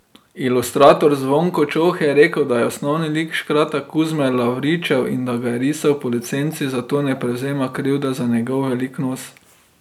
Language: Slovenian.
Ilustrator Zvonko Čoh je rekel, da je osnovni lik škrata Kuzme Lavričev in da ga je risal po licenci, zato ne prevzema krivde za njegov velik nos.